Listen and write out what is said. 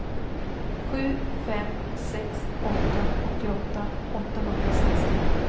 sju fem sex åtta åttioåtta åttahundrasexton